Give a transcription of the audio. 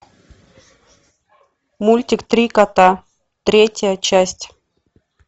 мультик три кота третья часть